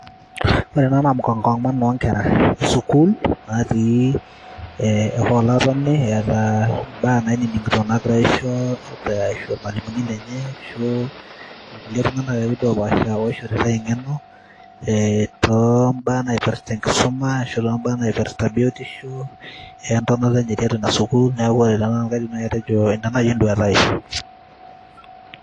ore ena naa mkongamano onkera esukul natii e hall atoni eeta imbaa naining'ito nagirae aisho eh, irmalimuni lenye ashu irkulie tung'anak akeduo opashaa oishoritae eng'eno eh, tombaa naipirrta enkisuma ashu tombaa naipirrta biotisho entonata enye tiatua ina sukul neeku ore tenanu kaidim naaji atejo ina naaji enduata ai.